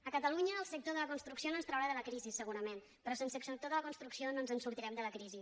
a catalunya el sector de la construcció no ens traurà de la crisi segurament però sense el sector de la construcció no ens en sortirem de la crisi